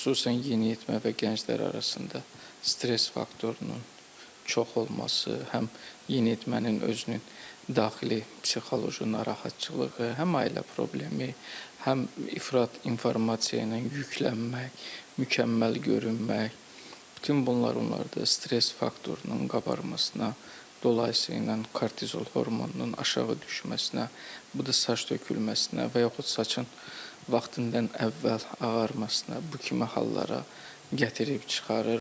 Xüsusən yeniyetmə və gənclər arasında stress faktorunun çox olması, həm yeniyetmənin özünün daxili psixoloji narahatçılığı, həm ailə problemi, həm ifrat informasiya ilə yüklənmək, mükəmməl görünmək, bütün bunlar onlarda stress faktorunun qabarmasına, dolayısı ilə kortizol hormonunun aşağı düşməsinə, bu da saç tökülməsinə və yaxud saçın vaxtından əvvəl ağarmasına bu kimi hallara gətirib çıxarır.